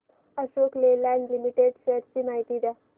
Ashok Leyland limited shares ची माहिती द्या